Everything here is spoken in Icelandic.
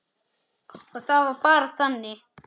Og það var bara þannig.